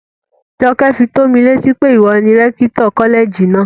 Jọkẹ́ fi tómi létí pé ìwọ ni rẹ́kítọ̀ kọ́lẹ̀jì náà